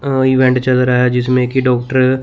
अ event चल रहा है जिसमें की डॉक्टर --